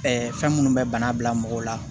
fɛn minnu bɛ bana bila mɔgɔw la